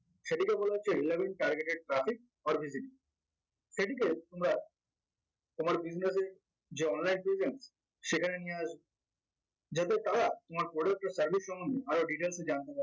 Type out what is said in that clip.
সেটিকে বলে হচ্ছে relevant targeted traffic or visitor সেটিকে তোমরা তোমার business এ যে online presence সেখানে নিয়ে আস যাতে তারা তোমার product বা service সম্বন্ধে আরো details এ জানতে